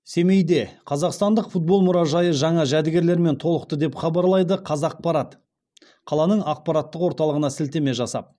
семейде қазақстандық футбол мұражайы жаңа жәдігерлермен толықты деп хабарлайды қазақпарат қаланың ақпараттық орталығына сілтеме жасап